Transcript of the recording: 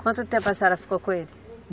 Quanto tempo a senhora ficou com ele?